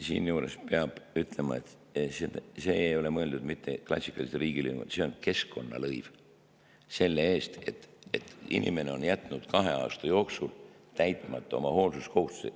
Siinjuures peab ütlema, et see ei ole mõeldud mitte klassikalise riigilõivuna, vaid see on keskkonnalõiv selle eest, et inimene on jätnud kahe aasta jooksul täitmata oma hoolsuskohustuse.